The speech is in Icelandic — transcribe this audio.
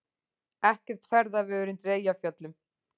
Ekkert ferðaveður undir Eyjafjöllum